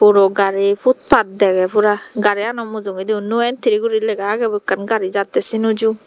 puro gari put pat deygey pura gari yani mujogondi no entry guri lega agey ekan gari jadey sey noju.